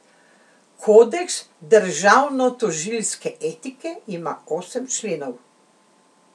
Kodeks državnotožilske etike ima osem členov.